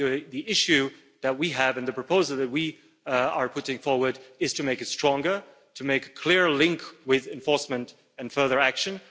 The issue that we have and the proposal that we are putting forward is to make it stronger and to make a clear link with enforcement and further action.